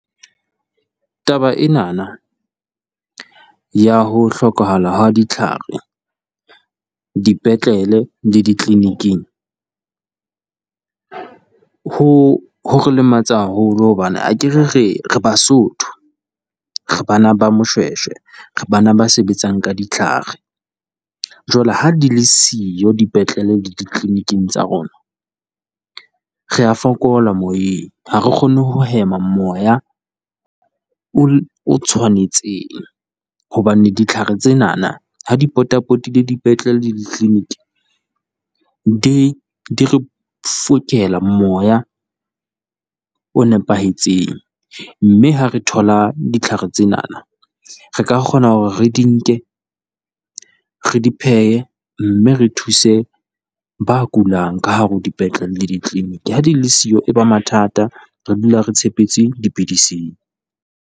Taba enana ya ho hlokahala ha ditlhare dipetlele le ditleniking, ho ho re lematsa haholo hobane akere re re Basotho, re bana ba Moshweshwe. Re bana ba sebetsang ka ditlhare, jwale ha di le siyo dipetlele le ditleniking tsa rona, rea fokola moyeng. Ha re kgone ho hema moya o tshwanetseng, hobane ditlhare tsenana ha di potapotile dipetlele le ditleniki, di di re fokela moya o nepahetseng. Mme ha re thola ditlhare tsenana, re ka kgona hore re di nke re di phehe, mme re thuse ba kulang ka hare ho dipetlele le ditleniki. Ha di le siyo e ba mathata re dula re tshepetse dipidising.